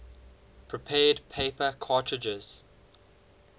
prepared paper cartridges